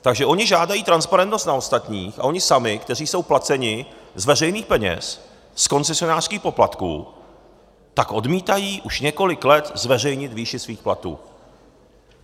Takže oni žádají transparentnost na ostatních, ale oni sami, kteří jsou placeni z veřejných peněz, z koncesionářských poplatků, tak odmítají už několik let zveřejnit výši svých platů.